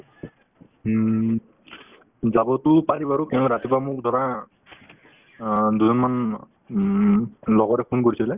উম, যাবতো পাৰি বাৰু কিয় ৰাতিপুৱা মোক ধৰা অ দুজনমান উম লগৰে phone কৰিছিলে